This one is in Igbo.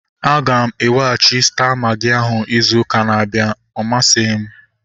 Aga m eweghachi Staa magị ahu izu ụka na-abịa. Ọ masighi m